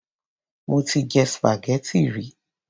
Mo ti jẹ spaghetti rí.